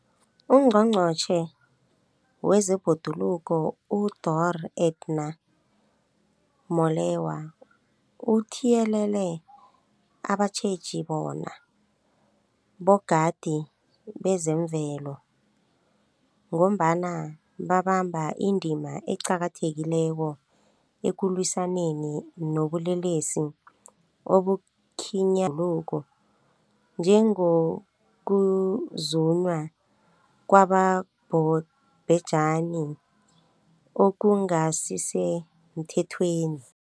UNgqongqotjhe wezeBhoduluko uDorh Edna Molewa uthiyelele abatjheji bona bogadi bezemvelo, ngombana babamba indima eqakathekileko ekulwisaneni nobulelesi obukhinyabeza ibhoduluko, njengokuzunywa kwabobhejani okungasisemthethweni.